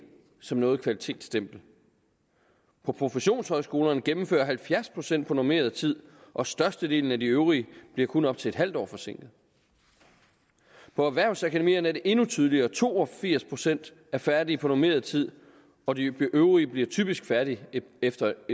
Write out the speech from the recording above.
som noget kvalitetsstempel på professionshøjskolerne gennemfører halvfjerds procent på normeret tid og størstedelen af de øvrige bliver kun op til et halvt år forsinket på erhvervsakademierne er det endnu tydeligere to og firs procent er færdige på normeret tid og de øvrige bliver typisk færdige efter